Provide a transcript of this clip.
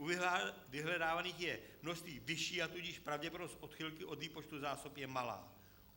U vyhledávaných je množství vyšší, a tudíž pravděpodobnost odchylky od výpočtu zásob je malá.